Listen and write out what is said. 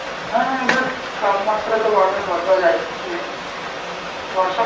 হ্যাঁ but, তাপমাত্রা তো বাড়বে বরঝা যাচ্ছে. বর্ষা